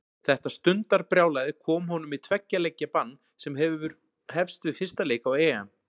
Þetta stundarbrjálæði kom honum í tveggja leikja bann sem hefst við fyrsta leik á EM.